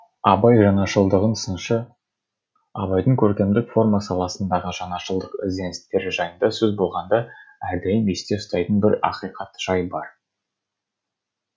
абай жаңашылдығын сыншы абайдың көркемдік форма саласындағы жаңашылдық ізденістері жайында сөз болғанда әрдайым есте ұстайтын бір ақиқат жай бар